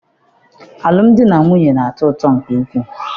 Alụm di na nwunye na-atọ ụtọ nke ukwu.